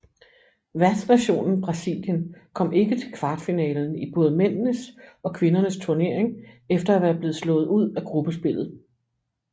Værtsnationen Brasilien kom ikke til kvartfinalen i både mændenes og kvindernes turnering efter at være blevet slået ud af gruppespillet